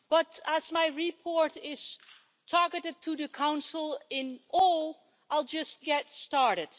But, as my report is targeted to the Council as a whole, I'll just get started.